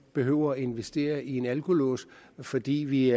behøver at investere i en alkolås fordi vi